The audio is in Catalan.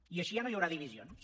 i així ja no hi haurà divisions